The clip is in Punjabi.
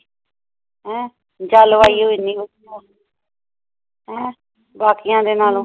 ਅਹ ਜਲਵਾਯੂ ਇੰਨੀ ਹੋਗੀ ਹੁਣ ਆਹ ਬਾਕੀਆਂ ਦੇ ਨਾਲੋਂ